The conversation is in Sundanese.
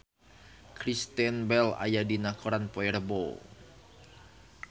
Kristen Bell aya dina koran poe Rebo